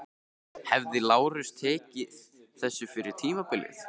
Hefði Lárus tekið þessu fyrir tímabilið?